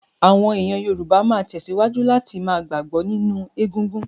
Àwọn èèyàn Yorùbá máa tẹ̀síwájú láti ma gbàgbọ́ nínú egungun